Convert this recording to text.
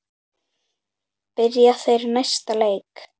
Byrja þeir næsta leik?